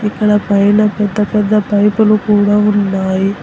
ఇక్కడ పైన పెద్ద పెద్ద పైపు లు కూడా ఉన్నాయి.